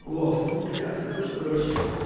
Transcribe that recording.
о фу блять я так что короче